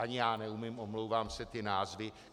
Ani já neumím, omlouvám se, ty názvy.